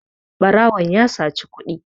barawon ya saci kuɗi